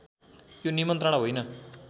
यो निमन्त्रणा होइन